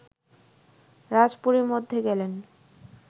রাজপুরীর মধ্যে গেলেন